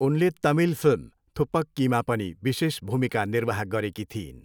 उनले तमिल फिल्म थुप्पक्कीमा पनि विशेष भूमिका निर्वाह गरेकी थिइन्।